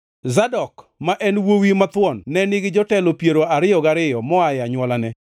Zadok, ma en wuowi mathuon ne nigi jotelo piero ariyo gariyo moa e anywolane;